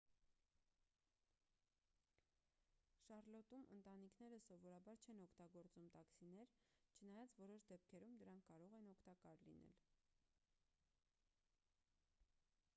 շառլոտում ընտանիքները սովորաբար չեն օգտագործում տաքսիներ չնայած որոշ դեպքերում դրանք կարող են օգտակար լինել